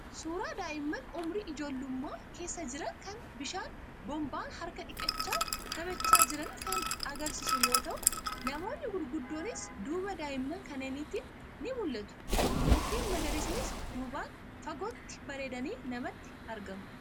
Suuraa daa'imman umurii ijoollummaa keessa jiranii kan bishaan boombaan harka dhiqachaa taphachaa jiranii kan agarsiisu yoo ta'u, namoonni gurguddoonis duuba daa'imman kanneeniitiin ni mul'atu. Mukeen magariisnis duubaan fagootti bareedanii namatti argamu.